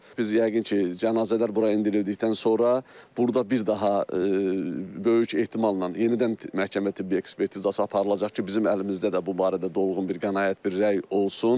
Biz yəqin ki, cənazələr bura endirildikdən sonra burda bir daha böyük ehtimalla yenidən məhkəmə tibbi ekspertizası aparılacaq ki, bizim əlimizdə də bu barədə dolğun bir qənaət, bir rəy olsun.